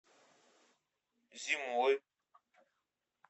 зимой